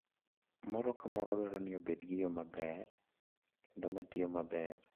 moro ka moro dwaro ni obed gi yo maber kendo ma tiyo maber.